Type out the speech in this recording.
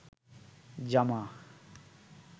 জামা